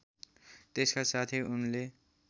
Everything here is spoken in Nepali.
त्यसका साथै उनले